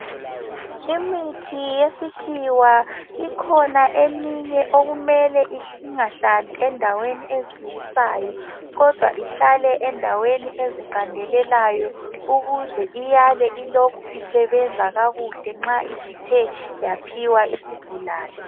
Imithi yesikhiwa ikhona eminye okumele ingahlali endaweni ezitshisayo kodwa ihlale endaweni eziqandelelayo ukuze iyale ilokhe isebenza kakuhle nxa isithe yaphiwa isigulane.